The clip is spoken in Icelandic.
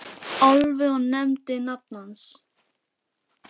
Álfi og nefndi nafn hans.